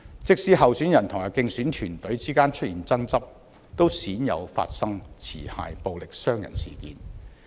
即使候選人及競選團隊之間出現爭執，都鮮有發生持械暴力傷人的事件。